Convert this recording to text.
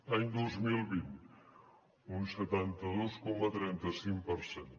any dos mil vint un setanta dos coma trenta cinc per cent